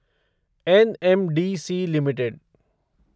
NMDC limited